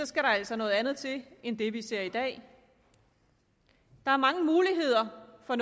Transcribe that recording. skal der altså noget andet til end det vi ser i dag der er mange muligheder for